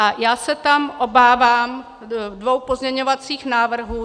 A já se tam obávám dvou pozměňovacích návrhů.